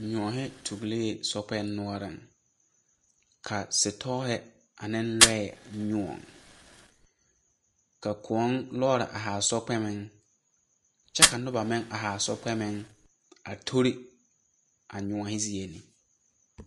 Nyoɔhe tuulee sɔkpɛŋ noɔreŋ. Ka sitɔɔhe ane lɔɛ lōɔ. Ka kōɔ lɔɔre ahaa sɔkpɛmeŋ. Kyɛ ka noba meŋ ahaa sɔkpɛmeŋ a tori a nyoɔhe zie ne.